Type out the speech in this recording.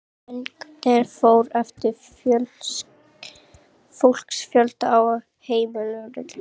Lengdin fór eftir fólksfjölda á heimilunum.